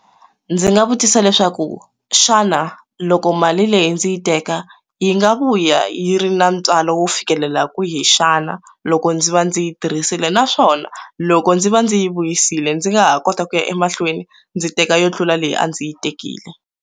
Ndzi nga vutisa leswaku xana loko mali leyi ndzi yi teka yi nga vuya yi ri na ntswalo wo fikelela kwihi xana loko ndzi va ndzi yi tirhisile naswona loko ndzi va ndzi yi vuyisile ndzi nga ha kota ku ya emahlweni ndzi teka yo tlula leyi a ndzi yi tekile.